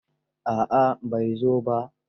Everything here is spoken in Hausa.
A'a, bai zo ba.